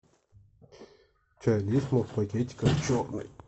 чай лисма в пакетиках черный